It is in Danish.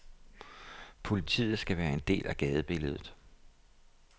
Politiet skal være en del af gadebilledet.